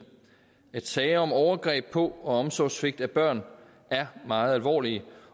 at sager om overgreb på og omsorgssvigt af børn er meget alvorlige